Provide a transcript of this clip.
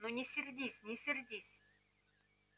ну не сердись не сердись